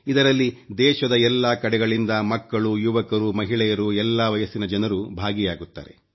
ಇದರಲ್ಲಿ ದೇಶದ ಎಲ್ಲಾ ಕಡೆಗಳಿಂದ ಮಕ್ಕಳು ಯುವಕರುಮಹಿಳೆಯರು ಎಲ್ಲಾ ವಯಸ್ಸಿನ ಜನರು ಭಾಗಿಯಾಗುತ್ತಾರೆ